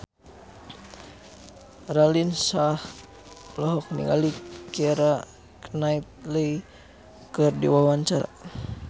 Raline Shah olohok ningali Keira Knightley keur diwawancara